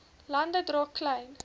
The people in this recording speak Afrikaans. lande dra klein